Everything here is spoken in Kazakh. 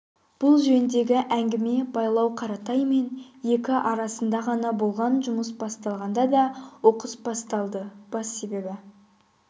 бұл жөндегі әңгіме байлау қаратаймен екі арасында ғана болған жұмыс басталғанда да оқыс басталды бас себебі